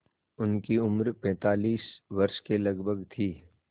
उनकी उम्र पैंतालीस वर्ष के लगभग थी